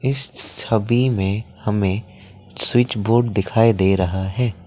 इस छवि में हमें स्विच बोर्ड दिखाई दे रहा है।